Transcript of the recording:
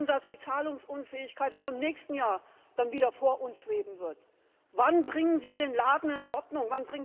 Wir wissen, dass die Zahlungsunfähigkeit dann auch im nächsten Jahr wieder vor uns schweben wird. Wann bringen Sie den Laden in Ordnung?